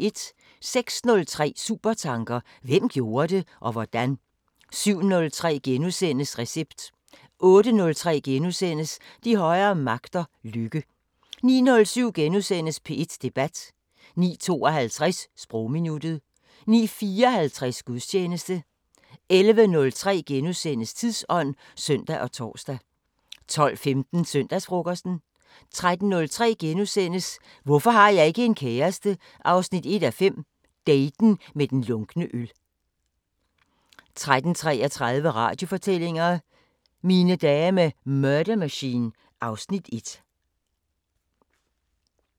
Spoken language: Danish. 06:03: Supertanker: Hvem gjorde det? Og hvordan? 07:03: Recept * 08:03: De højere magter: Lykke * 09:07: P1 Debat * 09:52: Sprogminuttet 09:54: Gudstjeneste 11:03: Tidsånd *(søn og tor) 12:15: Søndagsfrokosten 13:03: Hvorfor har jeg ikke en kæreste? 1:5 – daten med den lunkne øl * 13:33: Radiofortællinger: Mine dage med Murder Machine (Afs. 1)